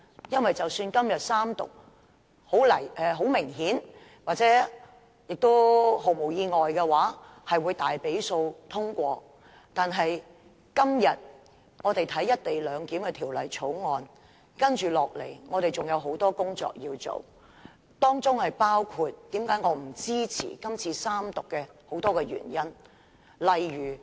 因為即使今天《條例草案》三讀通過——很明顯，《條例草案》會毫不意外地以大多數三讀通過——但今天我們審議《條例草案》後，接下來仍要進行很多工作，這也是我不支持《條例草案》三讀的眾多原因之一。